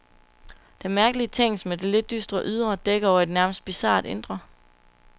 Denne mærkelige tingest med det lidt dystre ydre dækker over et nærmest bizart indre.